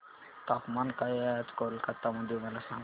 तापमान काय आहे आज कोलकाता मध्ये मला सांगा